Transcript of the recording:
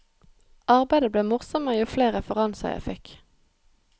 Arbeidet ble morsommere jo flere referanser jeg fikk.